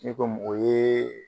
N'i ko mɔgɔ ye